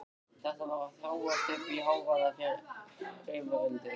Þetta var að þróast uppí hávaðarifrildi.